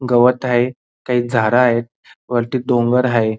गवत आहे काही झाड आहेत वरती डोंगर हाय.